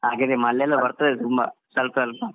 ಹಾಗೇನೇ Malayalam ಬರ್ತದೇ ತುಂಬಾ ಸ್ವಲ್ಪ ಸ್ವಲ್ಪ.